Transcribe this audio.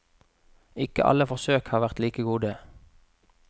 Ikke alle forsøk har vært like gode.